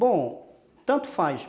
Bom, tanto faz.